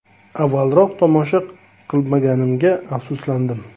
Avvalroq tomosha qilmaganimga afsuslandim!